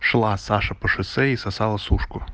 шла саша по шоссе и сосала сушку